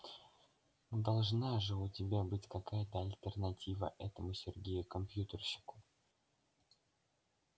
должна же у тебя быть какая-то альтернатива этому сергею компьютерщику